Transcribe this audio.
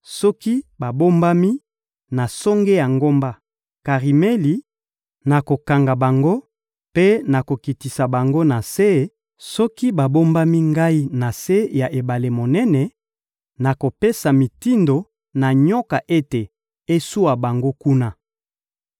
Soki babombami na songe ya ngomba Karimeli, nakokanga bango mpe nakokitisa bango na se; soki babombami Ngai na se ya ebale monene, nakopesa mitindo na nyoka ete eswa bango kuna.